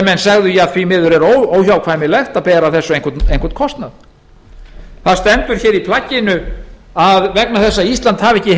að menn segðu að óhjákvæmilegt væri að bera af þessu einhvern kostnað í plagginu stendur að vegna þess að ísland hafi ekki